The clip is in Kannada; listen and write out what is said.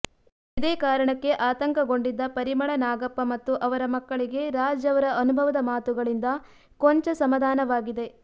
ಇದೇ ಕಾರಣಕ್ಕೆ ಆತಂಕಗೊಂಡಿದ್ದ ಪರಿಮಳ ನಾಗಪ್ಪ ಮತ್ತು ಅವರ ಮಕ್ಕಳಿಗೆ ರಾಜ್ ಅವರ ಅನುಭವದ ಮಾತುಗಳಿಂದ ಕೊಂಚ ಸಮಾಧಾನವಾಗಿದೆ